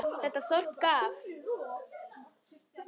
Þetta þorp gaf